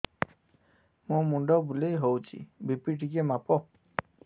ମୋ ମୁଣ୍ଡ ବୁଲେଇ ହଉଚି ବି.ପି ଟିକେ ମାପ